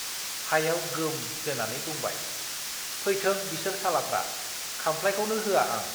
हायाव गोम जोनानै बुंबाय , फैथों बिसोर सालाफ्रा, खाम्फ्लाइखौनो होआ आं।